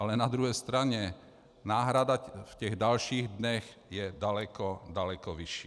Ale na druhé straně náhrada v těch dalších dnech je daleko, daleko vyšší.